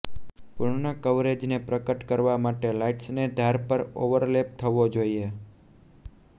પૂર્ણ કવરેજને પ્રગટ કરવા માટે લાઈટ્સને ધાર પર ઓવરલેપ થવો જોઈએ